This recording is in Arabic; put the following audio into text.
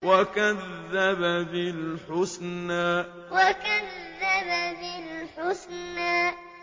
وَكَذَّبَ بِالْحُسْنَىٰ وَكَذَّبَ بِالْحُسْنَىٰ